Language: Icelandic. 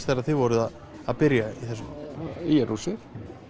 þegar þið voruð að byrja í þessu ÍR húsið